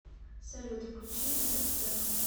салют включи этот трек